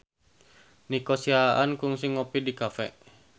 Nico Siahaan kungsi ngopi di cafe